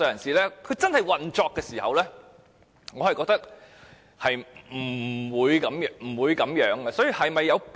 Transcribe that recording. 在真正運作時，我覺得是不會這樣做的。